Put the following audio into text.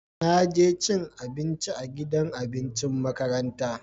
Na je cin abinci a gidan abincin makaranta.